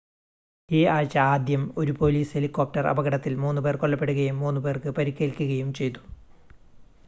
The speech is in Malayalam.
ഈ ആഴ്ച ആദ്യം ഒരു പോലീസ് ഹെലികോപ്റ്റർ അപകടത്തിൽ 3 പേർ കൊല്ലപ്പെടുകയും 3 പേർക്ക് പരിക്കേൽക്കുകയും ചെയ്തു